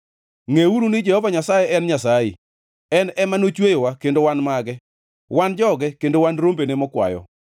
Ngʼeuru ni Jehova Nyasaye en Nyasaye. En ema nochweyowa, kendo wan mage; wan joge, kendo wan rombene mokwayo.